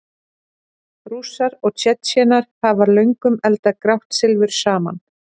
Rússar og Tsjetsjenar hafa löngum eldað grátt silfur saman.